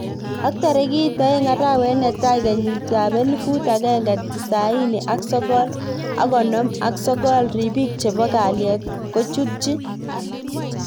Ak tarikit aeng arawet netai kenyit elifut akenge tisani ak sogol ak konom ak sogol, ribik chebo kallet kojutich